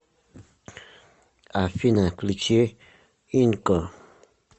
афина включи инко